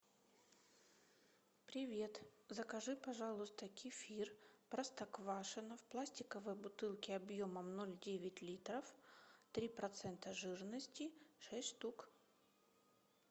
привет закажи пожалуйста кефир простоквашино в пластиковой бутылке объемом ноль девять литров три процента жирности шесть штук